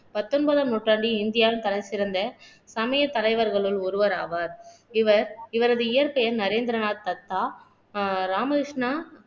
பத்தொன்பதாம் நூற்றாண்டில் இந்தியாவின் தலைசிறந்த சமய தலைவர்களுள் ஒருவர் ஆவார் இவர் இவரது இயற்பெயர் நரேந்திரநாத் தத்தா அஹ் ராமகிருஷ்ணா